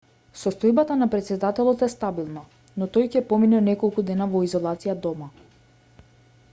состојбата на претседателот е стабилна но тој ќе помине неколку дена во изолација дома